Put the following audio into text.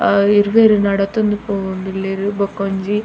ಆ ಇರ್ವೆರ್ ನಡತೊಂದು ಪೋವೊಂದುಲ್ಲೆರ್ ಬಕೊಂಜಿ.